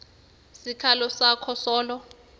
sikhalo sakho solo